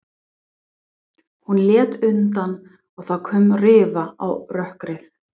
Hún lét undan og það kom rifa á rökkrið.